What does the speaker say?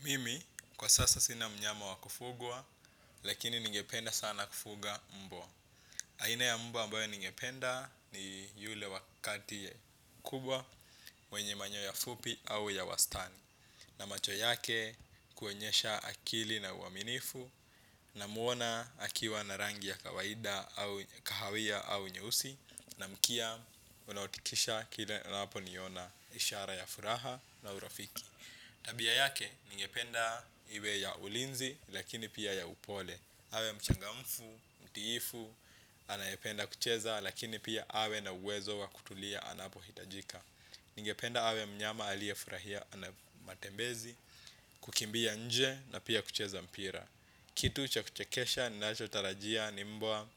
Mimi, kwa sasa sina mnyama wa kufugwa, lakini ningependa sana kufuga mbwa. Aina ya mbwa ambaye ningependa ni yule wa kati kubwa, mwenye manyoya fupi au ya wastani. Na macho yake kuonyesha akili na uaminifu, namuona akiwa na rangi ya kawaida au kahawia au nyeusi, na mkia anautikisa kila anaponiona ishara ya furaha na urafiki. Tabia yake, ningependa iwe ya ulinzi, lakini pia ya upole. Awe mchangamfu, mtiifu, anayependa kucheza, lakini pia awe na uwezo wa kutulia anapohitajika. Ningependa awe mnyama aliyefurahia matembezi, kukimbia nje, na pia kucheza mpira. Kitu cha kuchekesha ninachotarajia ni mbwa